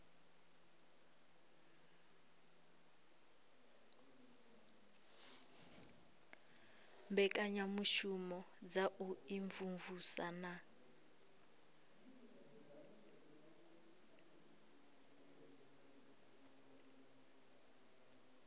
mbekanyamushumo dza u imvumvusa na